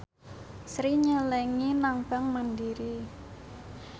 Sri nyelengi nang bank mandiri